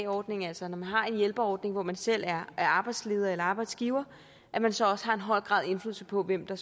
ordning altså når man har en hjælperordning hvor man selv er er arbejdsleder eller arbejdsgiver så også har en høj grad af indflydelse på hvem der